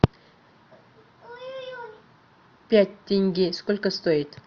пять тенге сколько стоит